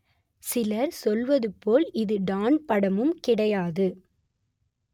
சிலர் சொல்வது போல் இது டான் படமும் கிடையாது